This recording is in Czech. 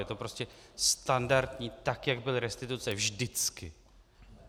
Je to prostě standardní, tak jak byly restituce vždycky.